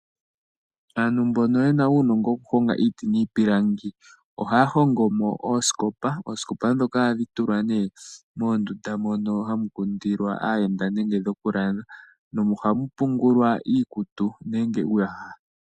Aantu mbono ye na uunongo wokuhonga iiti niipilangi ohaya hongo mo oosikopa. Oosikopa ndhoka ohadhi tulwa nee moondunda mono hamu kundilwa aayenda nenge dhokulala. Ohamu pungulwa iikutu nenge uuyaha.